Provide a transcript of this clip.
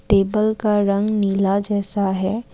Table का रंग नीला जैसा है।